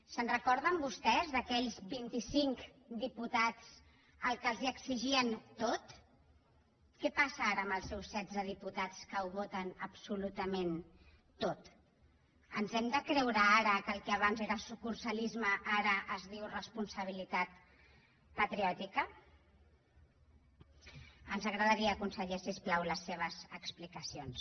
se’n recorden vostès d’aquells vint i cinc diputats als quals els exigien tot què passa ara amb els seus setze diputats que ho voten absolutament tot ens hem de creure ara que el que abans era sucursalisme ara es diu responsabilitat patriòtica ens agradaria conseller si us plau les seves explicacions